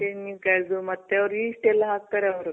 ತೆಂಗಿನಕಾಯ್ದು ಮತ್ತೆ ಅವ್ರ್ yeast ಎಲ್ಲ ಹಾಕ್ತಾರೆ ಅವ್ರು.